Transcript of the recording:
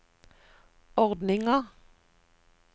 ordninga